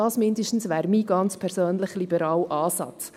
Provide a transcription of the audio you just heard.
Das wäre zumindest mein ganz persönlicher liberaler Ansatz.